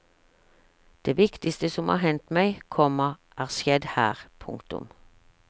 Det viktigste som har hendt meg, komma er skjedd her. punktum